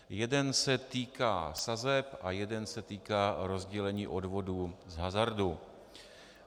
Jeden se týká sazeb a jeden se týká rozdělení odvodů z hazardu.